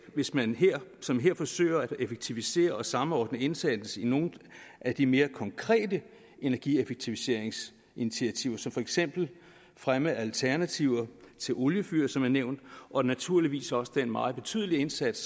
hvis man som her forsøger at effektivisere og samordne indsatsen i nogle af de mere konkrete energieffektiviseringsinitiativer som for eksempel fremme af alternativer til oliefyr som er nævnt og naturligvis også den meget betydelige indsats